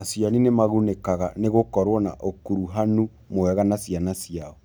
Aciari nĩ magunĩkaga nĩ gũkorũo na ũkuruhanu mwega na ciana ciao.